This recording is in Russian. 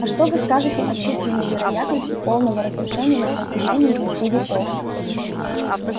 а что вы скажете о численной вероятности полного разрушения на протяжении пяти веков